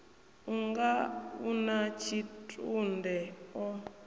unga u na tshitunde o